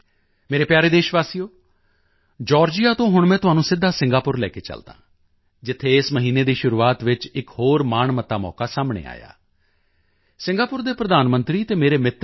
ਮੇਰੇ ਪਿਆਰੇ ਦੇਸ਼ਵਾਸੀਓ ਜਾਰਜੀਆ ਤੋਂ ਹੁਣ ਮੈਂ ਤੁਹਾਨੂੰ ਸਿੱਧਾ ਸਿੰਗਾਪੁਰ ਲੈ ਕੇ ਚਲਦਾ ਹਾਂ ਜਿੱਥੇ ਇਸ ਮਹੀਨੇ ਦੀ ਸ਼ੁਰੂਆਤ ਵਿੱਚ ਇੱਕ ਹੋਰ ਮਾਣਮੱਤਾ ਮੌਕਾ ਸਾਹਮਣੇ ਆਇਆ ਸਿੰਗਾਪੁਰ ਦੇ ਪ੍ਰਧਾਨ ਮੰਤਰੀ ਅਤੇ ਮੇਰੇ ਮਿੱਤਰ ਲੀ